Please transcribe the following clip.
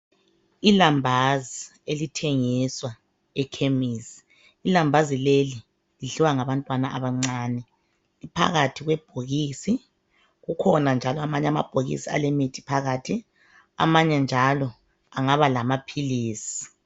Ilambazi elithengiswa ekhemisi. Ilambazi leli lidliwa ngabantwana abancane. Liphakathi kwebhokisi , kukhona njalo amanye amabhokisi alemithi ephakathi. Amanye njalo angaba lamaphilisi.